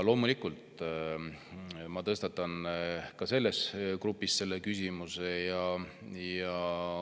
Loomulikult tõstatan ma selles grupis selle küsimuse.